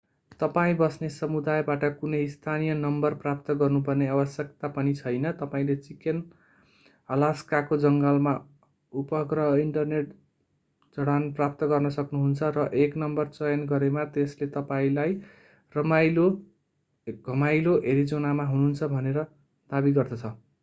तपाईं बस्ने समुदायबाट कुनै स्थानीय नम्बर प्राप्त गर्नुपर्ने आवश्यकता पनि छैन तपाईंले चिकेन अलास्काको जङ्गलमा उपग्रह इन्टरनेट जडान प्राप्त गर्न सक्नुहुन्छ र एक नम्बर चयन गरेमा त्यसले तपाईंलाई घमाइलो एरिजोनामा हुनुहुन्छ भनेर दाबी गर्दछ